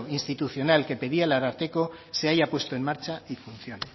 institucional que pedía el ararteko se haya puesto en marcha y funcione